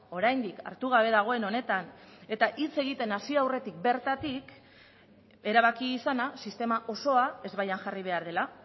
oraindik hartu gabe dagoen honetan eta hitz egiten hasi aurretik bertatik erabaki izana sistema osoa ezbaian jarri behar dela